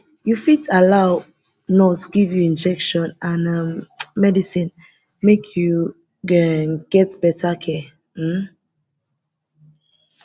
you fit allow nurse give you injection and um medicine make you um get better care um